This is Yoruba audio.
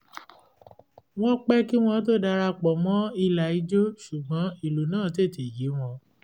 wọ́n pẹ́ kí wọ́n tó dara pọ̀ mọ́ ìlà ijó sugbọn ìlú náà tètè yé wọn